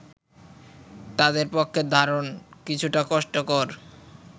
তাদের পক্ষে ধারণ কিছুটা কষ্টকর